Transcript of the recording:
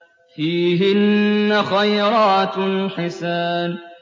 فِيهِنَّ خَيْرَاتٌ حِسَانٌ